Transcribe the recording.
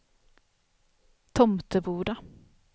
Tomteboda